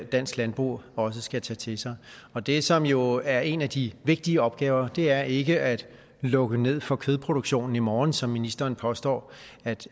dansk landbrug også skal tage til sig og det som jo er en af de vigtige opgaver er ikke at lukke ned for kødproduktionen i morgen som ministeren påstår